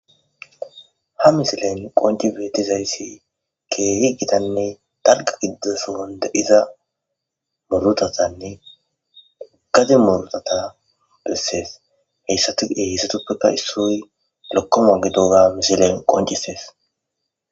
Ha missilen qonci betizayisi kehi gitanne daliga gidida son deiza murutazanne gade murutata beses hesatipeka issoy lokoma gidoga missilen qoncises.